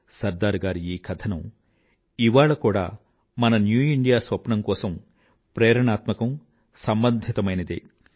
సర్దార్ గారి ఈ కథనం ఇవాళ కూడా మన న్యూ ఇండియా స్వప్నం కోసం ప్రేరణాత్మకం సంబంధితమైనదే